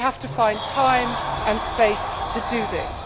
They have to find time and space to do this.